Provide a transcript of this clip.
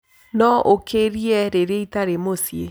no ũkĩrie rĩrĩa ĩtari mũcĩĩ